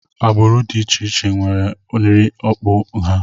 Agbụrụ dị iche iche nwere nri okpu ha